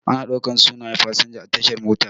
Ana ɗaukan sunaye fasinja a tashar mota.